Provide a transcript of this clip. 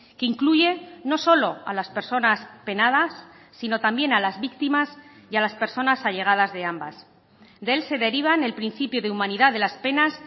que incluye no solo a las personas penadas sino también a las víctimas y a las personas allegadas de ambas de él se derivan el principio de humanidad de las penas